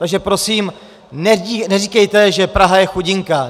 Takže prosím neříkejte, že Praha je chudinka.